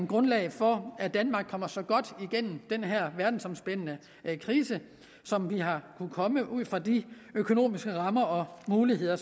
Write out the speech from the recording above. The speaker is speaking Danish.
grundlag for at danmark kommer så godt igennem den her verdensomspændende krise som vi har kunnet komme ud fra de økonomiske rammer og muligheder